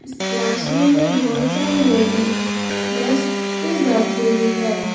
इस क्लासरूम में बहोत सारी लेडी डेस्क पे बैठे हुई हैं।